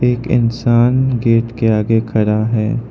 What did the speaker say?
एक इंसान गेट के आगे खड़ा है।